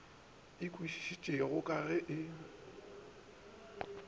e kwešišege ka ge e